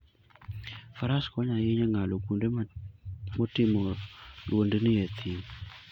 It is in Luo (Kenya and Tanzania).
Faras konyo ahinya e ng'ado kuonde motimo lwendni e thim.